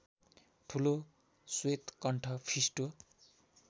ठुलो श्वेतकण्ठ फिस्टो